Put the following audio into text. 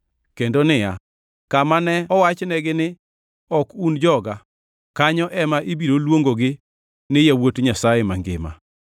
kendo niya, “Kama ne owachnegi ni, ‘Ok un joga,’ kanyo ema ibiro luongogi ni ‘yawuot Nyasaye mangima.’ ”+ 9:26 \+xt Hos 1:10\+xt*